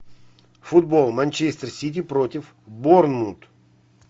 футбол манчестер сити против борнмут